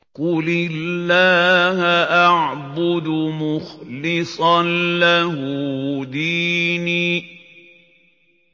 قُلِ اللَّهَ أَعْبُدُ مُخْلِصًا لَّهُ دِينِي